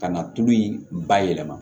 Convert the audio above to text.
Ka na tulu in bayɛlɛma